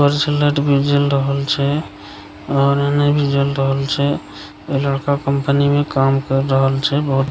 light भी जल रहल छै और एने भी जल रहल छै लड़का कंपनी में काम कर रहल छै बहुत --